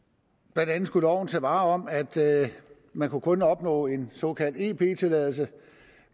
blandt andet skulle loven tage vare om at man kun kunne opnå en såkaldt ep tilladelse